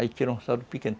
Aí tira um saldo pequeno.